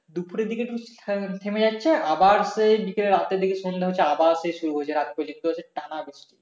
দুপুরের দিকে কিন্তু থেমে যাচ্ছে আবার সেই বিকেলের রাত্রের দিকে সন্ধ্যা হচ্ছে আবার সেই শুরু হয়ে যায় সেই রাত পর্যন্ত টানা বৃষ্টি